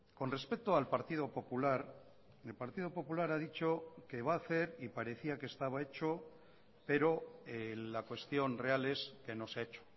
con respecto al partido popular el partido popular ha dicho que va a hacer y parecía que estaba hecho pero la cuestión real es que no se ha hecho